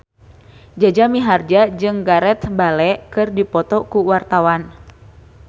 Jaja Mihardja jeung Gareth Bale keur dipoto ku wartawan